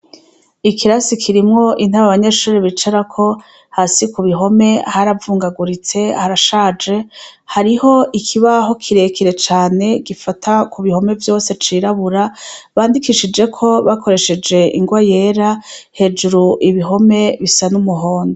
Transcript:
Ikirasi kirimwo intebe Abanyeshure bicarako hasi kubihome haravungaguritse harashaje, hariho ikibaho kirekire cane gifata ku bihome vyose cirabura candikishijweko bakoresheje ingwa yera, hejuru ibihome bisa n'umuhondo.